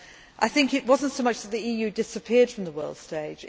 I think it was not so much that the EU disappeared from the world stage.